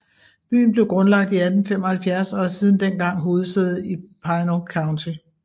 Byen blev grundlagt i 1875 og er siden dengang hovedsæde i Pinal County